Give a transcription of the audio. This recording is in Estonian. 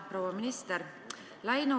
Proua minister!